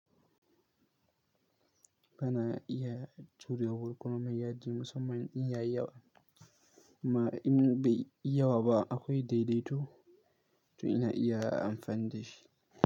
Ba na iya jurewar komai yaji musamman in ya yi yawa, ma in bai yi yawa ba akwai daidaito to ina iya amfani da shi.